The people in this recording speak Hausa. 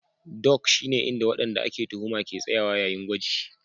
Dock shine inda wadanda ake tuhuma ke tsayawa yayin gwaji